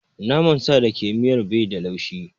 Naman sa da ke miyar bai da laushi.